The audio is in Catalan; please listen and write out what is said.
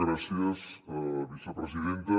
gràcies vicepresidenta